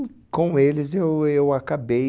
com eles eu eu acabei...